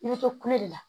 I bɛ to kule la